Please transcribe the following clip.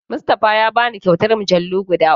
Mustafa ya bani kyautar mujallu guda uku.